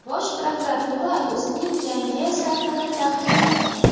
Bosh prokuratura o‘zining yangi saytini taqdim etdi.